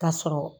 K'a sɔrɔ